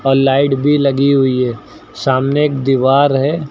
और लाइट भी लगी हुई है सामने एक दीवार है।